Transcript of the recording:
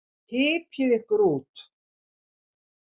Hypjið ykkur út.